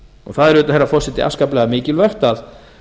það er auðvitað herra forseti afskaplega mikilvægt að